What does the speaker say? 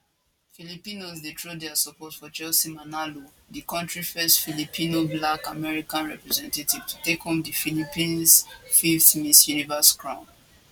filipinos dey throw dia support for chelsea manalo di country first filipinoblack american representative to take home di philippines fifth miss universe crown